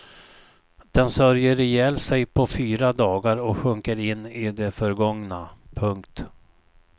Den sörjer ihjäl sig på fyra dagar och sjunker in i det förgångna. punkt